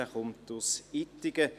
Er kommt aus Ittigen.